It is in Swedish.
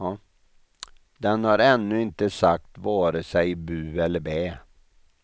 Den har ännu inte sagt vare sig bu eller bä.